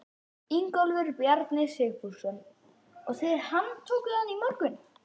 Ingólfur Bjarni Sigfússon: Og þið handtókuð hann í morgun?